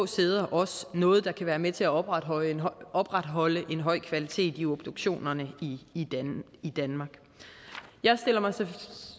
sæder også noget der kan være med til at opretholde en opretholde en høj kvalitet i obduktionerne i danmark jeg stiller mig